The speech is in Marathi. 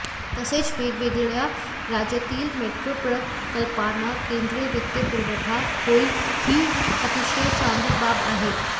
तसेच वेगवेगळ्या राज्यातील मेट्रो प्रकल्पाना केंद्रीय वित्तीय पुरवठा होईल ही अतिशय चांगली बाब आहे